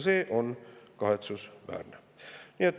See on kahetsusväärne.